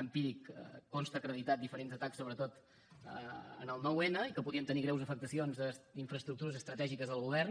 empíric consten acreditats diferents atacs sobretot en el nou n i que podrien tenir greus afectacions en infraestructures estratègiques del govern